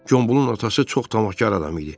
Gombulun atası çox tamahkar adam idi.